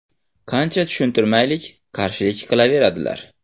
Qancha tushuntirmaylik, qarshilik qilaveradilar.